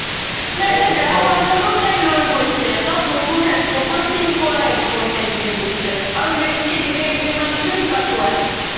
নাই তাইৰ বেয়া হুৱা দালো লৈ গৈছে plus নতুন headphone plus পুৰা seal কৰা headphone তাইক দি গৈছে আৰু next কেইদিন মান পিছ্ত সিপাতও আহিছে